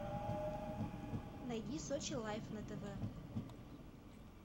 найди сочи лайф на тв